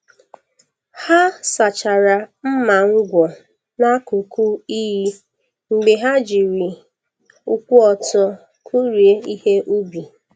Ha sachara mma ngwọ n’akụkụ iyi mgbe ha jiri ụkwụ ọtọ kụrie ihe ubi.